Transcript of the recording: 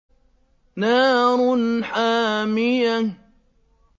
نَارٌ حَامِيَةٌ